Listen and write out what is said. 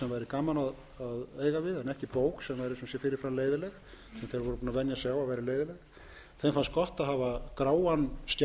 þeir voru búnir að venja sig á að vera leiðinleg þeim fannst gott að hafa gráan skjá